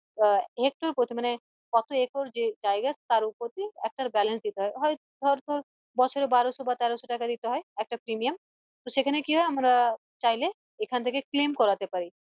আহ করেছে মানে কত জায়গা তার ওপর একটা balance দিতে হয় হয়তো ধর তোর বছরে বারোশো বা তেরোশো টাকা দিতে হয় একটা premium তো সেখানে কি হয় আমরা চাইলে এখান থেকে claim করতে পারি